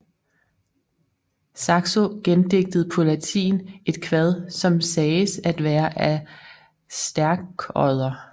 Saxo gendigtede på latin et kvad som sagdes at være af Stærkodder